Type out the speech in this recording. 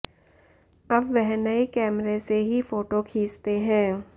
अब वह नए कैमरे से ही फोटो खींचते हैं